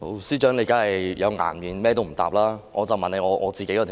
司長當然有顏面，完全不答覆議員的質詢。